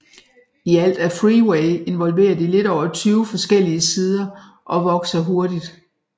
I alt er Freeway involveret i lidt over 20 forskellige sider og vokser hurtigt